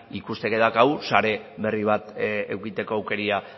ikusteke daukagu sare berri bat edukitzeko aukera